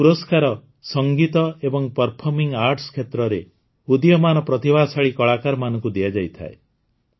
ଏହି ପୁରସ୍କାର ସଙ୍ଗୀତ ଏବଂ ପର୍ଫର୍ମିଂ ଆର୍ଟ୍ସ କ୍ଷେତ୍ରରେ ଉଦୀୟମାନ ପ୍ରତିଭାଶାଳୀ କଳାକାରମାନଙ୍କୁ ଦିଆଯାଇଥାଏ